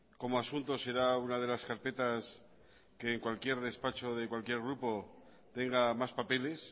como asunto será una de las carpetas que en cualquier despacho de cualquier grupo tenga más papeles